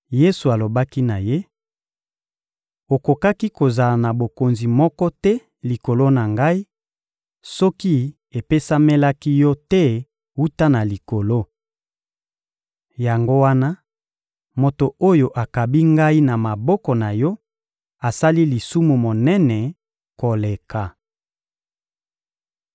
Yesu alobaki na ye: — Okokaki kozala na bokonzi moko te likolo na Ngai soki epesamelaki yo te wuta na likolo. Yango wana, moto oyo akabi Ngai na maboko na yo asali lisumu monene koleka.